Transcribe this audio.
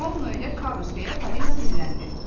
Ronno ilə Karus deyə Falina dilləndi.